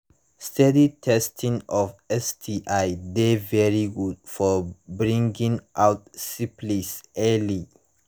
steady testing of sti de very good for bringing out syphilis early